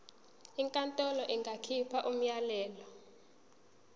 inkantolo ingakhipha umyalelo